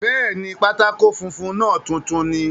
Bẹ́ẹ̀ni, pátákó funfun náà tuntun ni